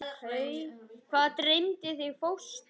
Og hvað dreymdi þig fóstri?